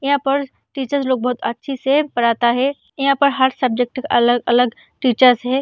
यहाँ पर टीचर लोग बहुत अच्छे से पढ़ाता है यहाँ पर हर सब्जेक्ट का अलग-अलग टीचर है।